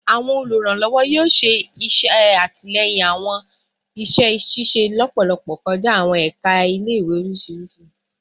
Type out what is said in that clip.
Awọn oluranlọwọ yoo ṣe atilẹyin awọn iṣẹ ṣiṣe lọpọlọpọ kọja awọn ẹka ile-iwe oriṣiriṣi